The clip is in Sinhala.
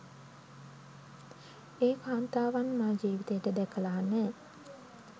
ඒ කාන්තාවන් මා ජීවිතේට දැකලා නෑ